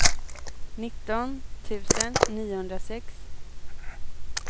nitton tusen niohundrasex